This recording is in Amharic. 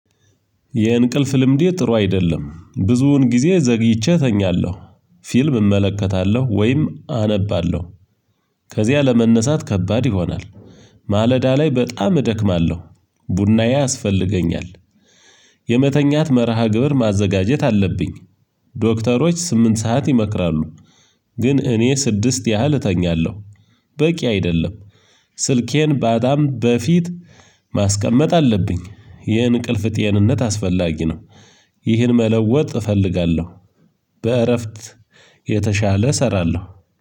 የእንቅልፍ ልምዴ ጥሩ አይደለም ብዙውን ጊዜ ዘግይቼ እተኛለሁ ፊልም እመለከታለሁ ወይም አነባለሁ ከዚያ ለመነሳት ከባድ ይሆናል ማለዳ ላይ በጣም እደክማለሁ ቡናዬ ያስፈልገኛል የመተኛት መርሃ ግብር ማዘጋጀት አለብኝ። ዶክተሮች ስምንት ሰዓት ይመክራሉ ግን እኔ ስድስት ያህል እተኛለሁ በቂ አይደለም ስልኬን ባጣም በፊት ማስቀመጥ አለብኝ ይህን እንቅልፍ ጤንነት አስፈላጊ ነው ይህን መለወጥ እፈልጋለሁ በእረፍት የተሻለ እሰራለሁ